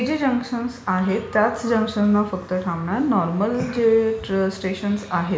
ही जी जंक्शनस आहेत त्याच जंक्शन्सनाच फक्त थांबणार. नॉर्मल जे स्टेशन्स आहेत...